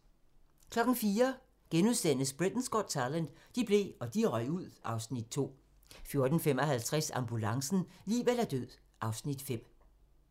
04:00: Britain's Got Talent - de blev, og de røg ud (Afs. 2)* 04:55: Ambulancen - liv eller død (Afs. 5)